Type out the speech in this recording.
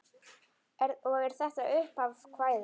Og er þetta upphaf kvæðis: